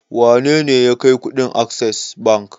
Wane ne ya kai kuɗin Access Bank?